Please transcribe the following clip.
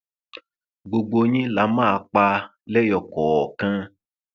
gbogbo yín la máa pa lẹyọ kọọkan